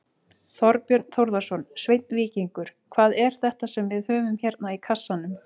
Þorbjörn Þórðarson: Sveinn Víkingur, hvað er þetta sem við höfum hérna í kassanum?